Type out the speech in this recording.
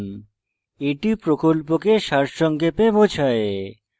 এটি প্রকল্পকে সারসংক্ষেপে বোঝায়